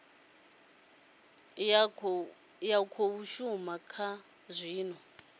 ya khou shuma zwa zwino